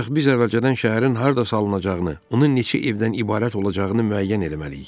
Ancaq biz əvvəlcədən şəhərin harda salınacağını, onun neçə evdən ibarət olacağını müəyyən eləməliyik.